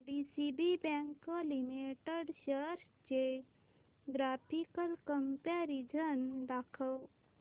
DCB bank limited shares चे graphical comparison दाखव